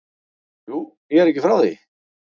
Jú, ég er ekki frá því.